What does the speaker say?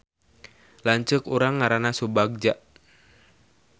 Lanceuk urang ngaranna Subagja